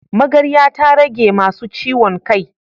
Magarya ta rage masu ciwon kai.